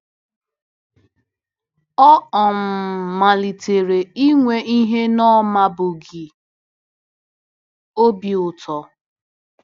Ọ um malitere inwe ihe ọ na-amabughị - obi ụtọ!